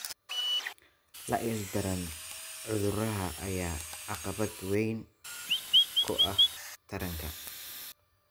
La ildaran cudurrada ayaa caqabad weyn ku ah taranta.